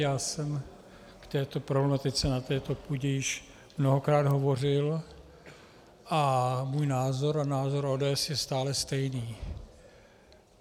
Já jsem k této problematice na této půdě již mnohokrát hovořil a můj názor a názor ODS je stále stejný.